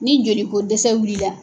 Ni joliko dɛsɛ wulila